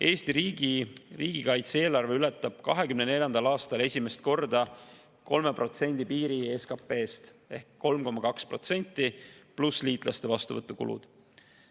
Eesti riigi riigikaitse-eelarve ületab 2024. aastal esimest korda 3% piiri SKP-st ehk on 3,2% pluss liitlaste vastuvõtu kulud.